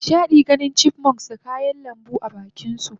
yinada nishadin ganin Chipmunks da kayan lambu abakinsu